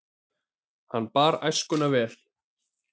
Hann bar æskuna vel.